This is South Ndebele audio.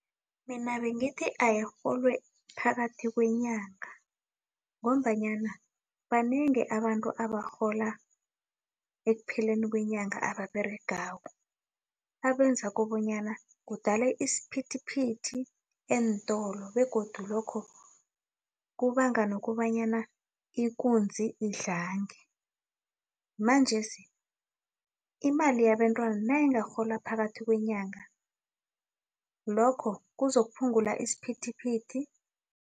Mina bengithi ayirholwe phakathi kwenyanga, ngombanyana banengi abantu abarhola ekupheleni kwenyanga ababeregako, abenza kobanyana kudale isiphithiphithi eentolo, begodu lokho kubanga nokobanyana ikunzi idlange. Manjesi imali yabentwana nayingarholwa phakathi kwenyanga, lokho kuzokuphungula isiphithiphithi.